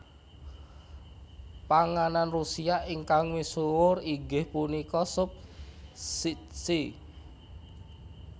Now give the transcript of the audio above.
Panganan Rusia ingkang misuhur inggih punika sup shchi